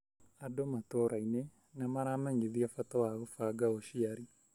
Andũ matũrainĩ nĩmaramenyĩthio bata wa gũbanga ũciari.